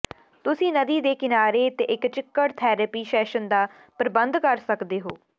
ਤੁਸੀਂ ਨਦੀ ਦੇ ਕਿਨਾਰੇ ਤੇ ਇੱਕ ਚਿੱਕੜ ਥੈਰੇਪੀ ਸੈਸ਼ਨ ਦਾ ਪ੍ਰਬੰਧ ਕਰ ਸਕਦੇ ਹੋ